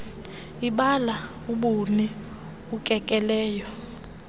ibala ubuni ukekelelo